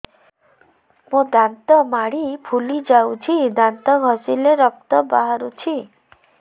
ମୋ ଦାନ୍ତ ମାଢି ଫୁଲି ଯାଉଛି ଦାନ୍ତ ଘଷିଲେ ରକ୍ତ ବାହାରୁଛି